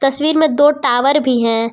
तस्वीर में दो टावर भी हैं।